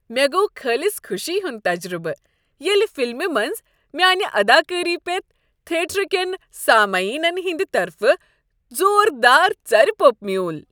مےٚ گوٚو خٲلص خوشی ہُند تجربہٕ ییٚلہ فلمہ منٛز میانِہ اداکٲری پیٹھ تھیٹر کین سامعینن ہٕندِ طرفہٕ زوردار ژَرِپوٚپ میُول۔